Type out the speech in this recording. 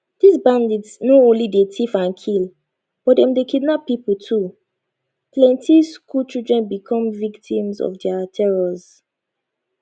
these bandits no only dey tiff and kill but dem dey kidnap pipo too plenty school children become victims of dia terrors